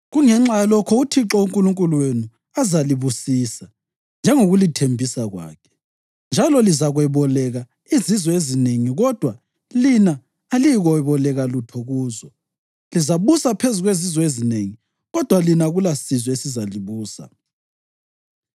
Kungenxa yalokho uThixo uNkulunkulu wenu azalibusisa njengokulithembisa kwakhe, njalo lizakweboleka izizwe ezinengi kodwa lina aliyikweboleka lutho kuzo. Lizabusa phezu kwezizwe ezinengi kodwa lina akulasizwe esizalibusa.